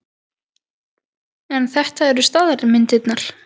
En þetta eru staðalmyndirnar.